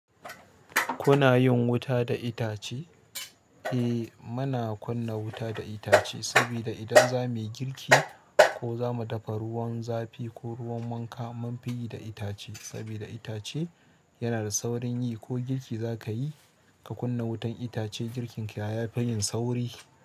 Kuna yin wuta da itace? Eh muna kunna wuta da itace sabida idan zamu yi girki ko zamu dafa ruwan zafi ko ruwan wanka mun fi yi da itace sabida itace yana da saurin yi ko girki zaka yi ka kunna wutan itace girkin ka yafi yin sauri.